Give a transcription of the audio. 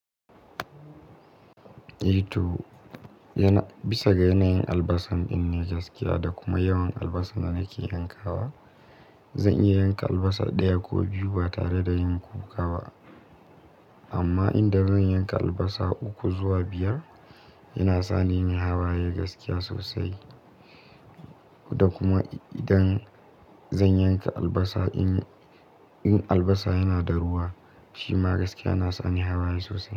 I to, bisa ga yanayin albasa in yi gaskiya da kuma yawan albasa na ke yanka wa, zan iya yanka albasa ɗaya ko biyu ba tare da yin kokawa. Amma idan zan yanka albasa uku zuwa biyar, yana sa ni nayi hawaye gaskiya sosai. Da kuma idan zan yanka albasa in albasa yana da ruwa, shima gaskiya na sa ni hawaye sosai.